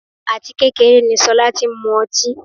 áti kékeré ni Sola ti ń mú ọtí.